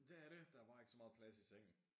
Dét er det der bare ikke så meget plads i sengen